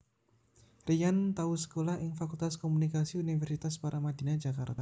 Ryan tau sekolah ing Fakultas Komunikasi Universitas Paramadina Jakarta